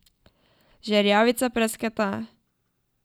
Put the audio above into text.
Žerjavica prasketa.